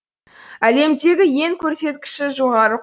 әлемдегі ең көрсеткіші жоғары